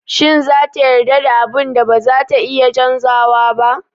Shin za ta yarda da abun da bazata iya canzawa ba?